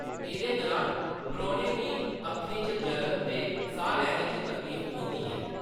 एह्‌दे दुरान परौह्‌नें गी अक्खें च जलन ते साह्‌‌ लैने च तकलीफ होंदी ऐ।